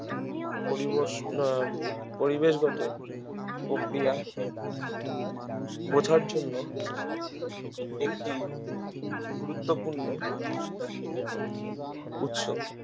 পরিবেশগত প্রক্রিয়া বোঝার জন্য একটি গুরুত্বপূর্ণ উৎস